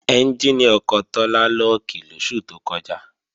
Ẹ́njìnì ọkọ̀ Tọ́lá lọ́ọ̀kì lóṣù tó kọjá